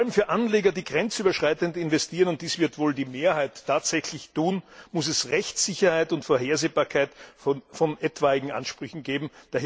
Vor allem für Anleger, die grenzüberschreitend investieren und dies wird wohl die Mehrheit tatsächlich tun muss es Rechtssicherheit und Vorhersehbarkeit in Bezug auf etwaige Ansprüche geben.